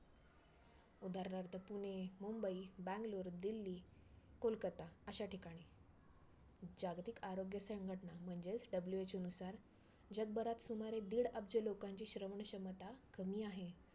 उदाहरणार्थ पुणे, मुंबई, बॅंगलोर, दिल्ली, कोलकत्ता अशा ठिकाणी. जागतिक आरोग्य संघटना म्हणजेच WHO नुसार जगभरात सुमारे दीड अब्ज लोकांची श्रवणक्षमता कमी आहे.